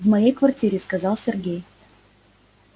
в моей квартире сказал сергей